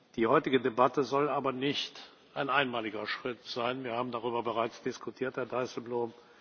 Die heutige Debatte soll aber kein einmaliger Schritt sein, wir haben darüber bereits diskutiert, Herr Dijsselbloem.